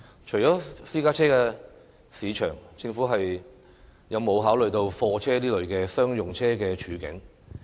除了私家車市場，政府有否考慮貨車等商用車的處境？